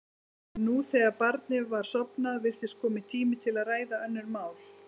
En nú, þegar barnið var sofnað, virtist kominn tími til að ræða önnur mál.